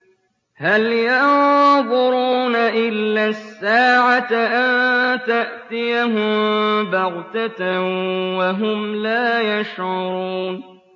هَلْ يَنظُرُونَ إِلَّا السَّاعَةَ أَن تَأْتِيَهُم بَغْتَةً وَهُمْ لَا يَشْعُرُونَ